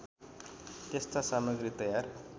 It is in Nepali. त्यस्ता सामग्री तयार